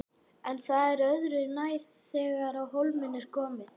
En það er öðru nær þegar á hólminn er komið.